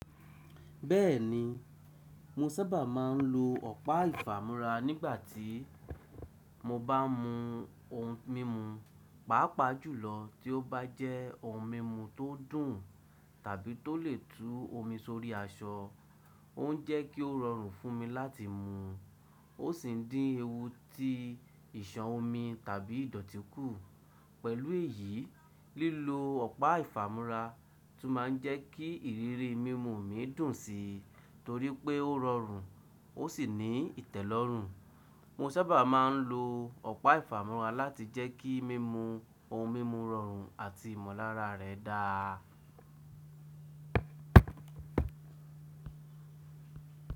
Bẹ́ẹ̀ni, mo sábà máa ń lo ọ̀pá ìfàmúrà nígbà tí mo bá n mú ohun mímu, pàápàá jùlọ tí ó bá jẹ́ ohun mímu tó dùn tàbí tó lè tú omi sórí aṣọ. Òún jẹ́ kó rọrùn fún mi láti mú, ó sì ń dín ewu tí ìṣàn omi tàbí ìdọ̀tí kù. Pẹ̀lú èyí, lílo ọ̀pá ìfàmúrà tún máa ń jẹ́ kí ìrírí mímu mi dùn sí torí pé ó rọrùn ó sì ní ìtẹ́lọ́rùn. Mo sábà máa ń lo ọ̀pá ìfàmúrà láti jẹ́ kí mímu ohun mímu rọrùn àti ìmọ̀lára rẹ̀ dáa.